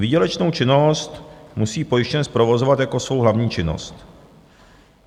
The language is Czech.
Výdělečnou činnost musí pojištěnec provozovat jako jsou hlavní činnost.